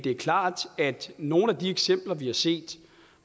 er klart at nogle af de eksempler vi har set